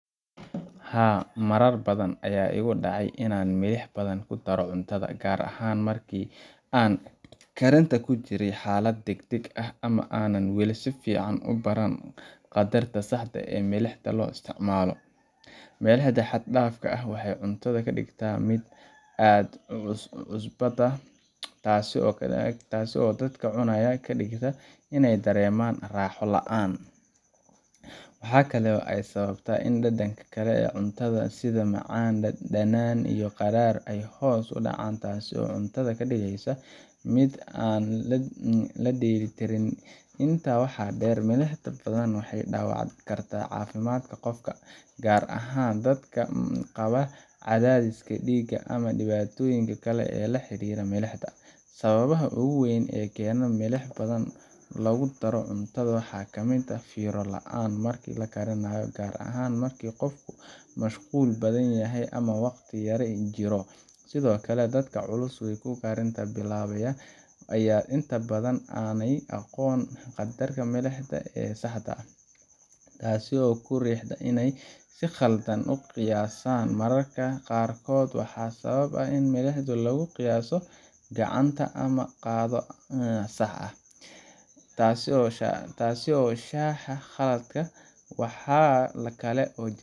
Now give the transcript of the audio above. Haa, marar badan ayaa igu dhacay inaan milix badan ku daro cuntada, gaar ahaan markii aan karinta ku jiray xaalad degdeg ah ama aanan weli si fiican u baran qaddarka saxda ah ee milixda loo isticmaalo. Milixda xad dhaafka ahi waxay cuntada ka dhigtaa mid aad u cusbata, taasoo dadka cunaya ka dhigta inay dareemaan raaxo la’aan. Waxa kale oo ay sababtaa in dhadhanka kale ee cuntada sida macaan, dhanaan, iyo qadhaadh ay hoos u dhacaan, taasoo cuntada ka dhigaysa mid aan dheeli tirnayn. Intaa waxaa dheer, milixda badan waxay dhaawac kartaa caafimaadka qofka, gaar ahaan dadka qaba cadaadis dhiig ama dhibaatooyin kale oo la xiriira milixda. Sababaha ugu waaweyn ee keena in milix badan lagu daro cuntada waxaa ka mid ah fiiro la’aan marka la karinaayo, gaar ahaan marka qofku mashquul badan yahay ama waqti yari jiro. Sidoo kale, dadka cusub ee karinta bilaabaya ayaa inta badan aanay aqoon qaddarka milixda ee saxda ah, taasoo ku riixda inay si khaldan u qiyaasaan. Mararka qaarkood waxaa sabab u ah in milixda lagu qiyaaso gacanta ama qaado aan sax ahayn, taasoo sahasha khaladka. Waxaa kale oo jirta